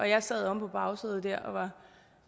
jeg sad omme på bagsædet dér